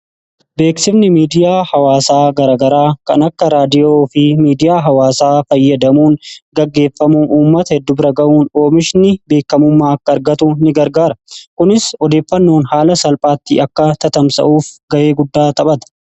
beeksifni miidiyaa hawaasaa garagaraa kan akka raadiyoo fi miidiyaa hawaasaa fayyadamuun gaggeeffamu uummata heddu bira ga'uun oomishni beekamummaa akka argatu in gargaara kunis odeeffannoon haala salphaattii akka tatamsa'uuf ga'ee guddaa taphada